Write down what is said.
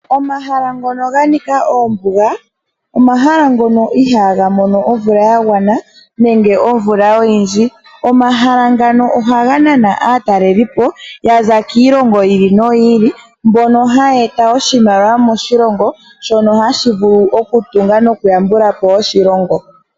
Omahala ngono ga nika oombuga, omahala ngono ihaaga mono omvula ya gwana nenge omvula oyindji. Omahala ngano ohaga nana aataleli po yaza kiilongo yi ili noyi ili mbono haya e ta oshimaliwa moshilongo, shono hashi vulu oku tunga noku yambula po oshilongo.